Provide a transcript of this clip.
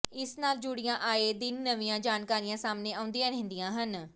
ਇਸ ਨਾਲ ਜੁੜੀਆਂ ਆਏ ਦਿਨ ਨਵੀਂਆਂ ਜਾਣਕਾਰੀਆਂ ਸਾਹਮਣੇ ਆਉਂਦੀਆਂ ਰਹਿੰਦੀ ਹਨ